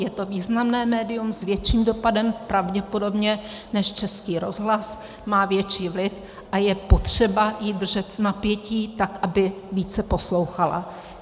Je to významné médium, s větším dopadem pravděpodobně než Český rozhlas, má větší vliv a je potřeba ji držet v napětí, tak aby více poslouchala.